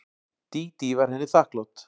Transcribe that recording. Dídí var henni þakklát.